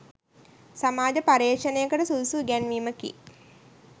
සමාජ පර්යේෂණයකට සුදුසු ඉගැන්වීමකි.